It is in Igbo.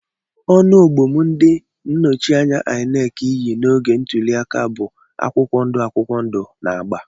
Ọnụ ogbom ndi nnochianya inec yi n'oge ntuli aka bụ akwụkwọ ndụ akwụkwọ ndụ na agba.